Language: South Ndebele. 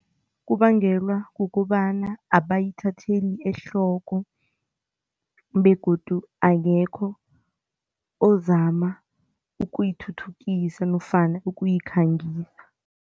Kubangelwa kukobana abayithatheli ehloko begodu akekho ozama ukuyithuthukisa nofana ukuyikhangisa.